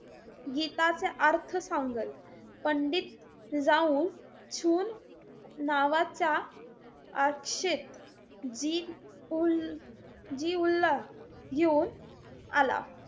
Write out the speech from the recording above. गीताचे अर्थ सांगेल. पंडित राउल शूल नावाचा अक्षेत जी उल जिउल्लाह घेऊन आला.